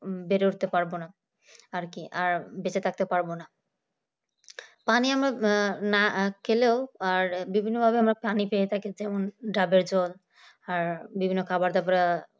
বেড়ে উঠতে পারব না আর কি আর বেঁচে থাকতে পারবো না পানি আমরা আহ না খেলেও আর বিভিন্ন ভাবে পানি পেয়ে থাকি যেমন ডাবের জল আর বিভিন্ন খাবার দাবার